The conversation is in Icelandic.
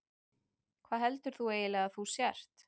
Hvað heldur þú eiginlega að þú sért?